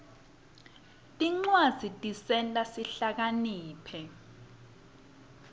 tincwadzi tisenta sihlakaniphe